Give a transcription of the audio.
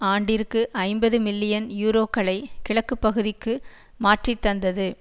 ஆண்டிற்கு ஐம்பதுமில்லியன் யூரோக்களை கிழக்குப்பகுதிக்கு மாற்றித்தந்தது